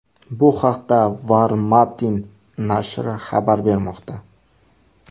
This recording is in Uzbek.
Bu haqda Var-Matin nashri xabar bermoqda .